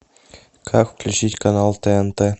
как включить канал тнт